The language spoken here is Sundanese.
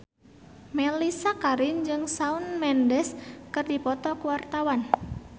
Mellisa Karim jeung Shawn Mendes keur dipoto ku wartawan